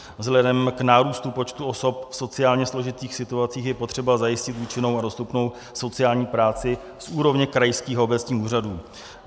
Vzhledem k nárůstu počtu osob v sociálně složitých situacích je potřeba zajistit účinnou a dostupnou sociální práci z úrovně krajských obecních úřadů.